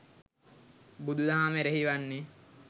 බුදුදහම එරෙහි වන්නේ